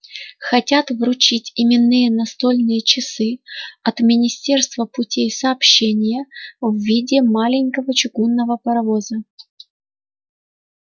хотят вручить именные настольные часы от министерства путей сообщения в виде маленького чугунного паровоза